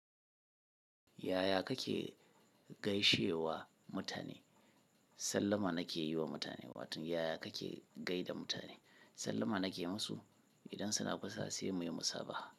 Yaya kake gaishe wa mutane? Sallama na ke yi wa mutane wato yaya kake gaida mutane? Sallama na ke musu. Idan suna kusa sai muyi musabaha.